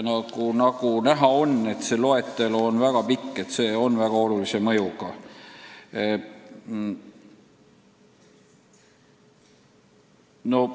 Nagu näha, see loetelu on päris pikk, nii et uue regulatsiooni mõju saab olema suur.